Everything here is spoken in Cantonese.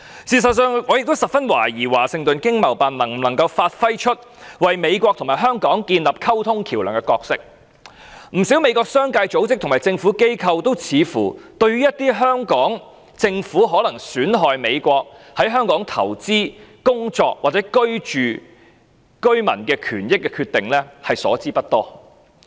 事實上，我也懷疑華盛頓經貿辦能否發揮為美國與香港建立溝通橋樑的角色，不少美國的商界、組織和政府機構，都似乎對於香港政府可能損害在港投資、工作或居住的美國公民的權益的決定所知不多。